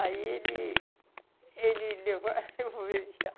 Aí ele... Ele levou...